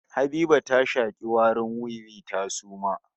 Habiba ta shaki warin wiwi ta suma